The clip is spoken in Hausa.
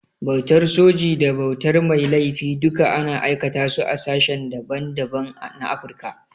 Bautar soji da bautar mai laifi duka ana aikata su a sashen da ban da ban na Afrika.